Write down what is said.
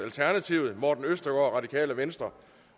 morten østergaard